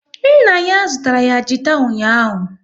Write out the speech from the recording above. Nna ya zụtara ya gita ụnyaahụ